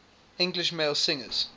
english male singers